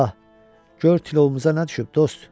Ah, gör tılovumuza nə düşüb, dost!